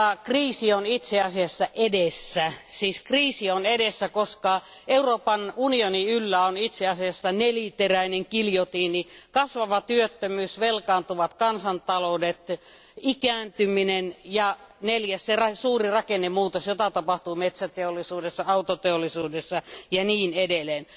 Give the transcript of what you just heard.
Kriisi on kuitenkin itse asiassa edessä, siis kriisi on edessä, koska Euroopan unionin yllä on neliteräinen giljotiini kasvava työttömyys, velkaantuvat kansantaloudet, ikääntyminen ja suuri rakennemuutos, jota tapahtuu metsäteollisuudessa, autoteollisuudessa ja niin edelleen.